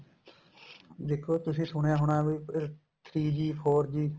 ਦੇਖੋ ਤੁਸੀਂ ਸੁਣਿਆ ਹੋਣੇ ਵੀ three G four G